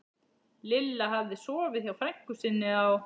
Lilla hafði sofið hjá frænku sinni á